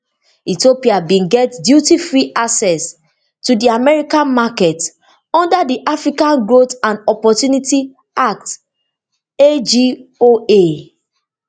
ethiopia bin get dutyfree access to di american market under di african growth and opportunity act agoa